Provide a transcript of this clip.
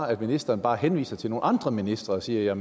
at ministeren bare henviser til nogle andre ministre og siger